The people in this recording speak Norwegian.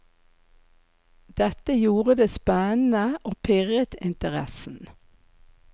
Dette gjorde det spennende og pirret interessen.